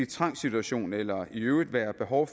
trangssituation eller i øvrigt være behov